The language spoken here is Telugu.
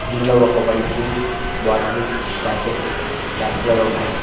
ఇందులో ఒక వైపు బాటిల్ ప్యాకెట్స్ ర్యాక్స్ లలో ఉన్నాయి.